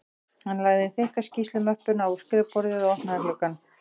Hann lagði þykka skýrslumöppuna á skrifborðið og opnaði gluggann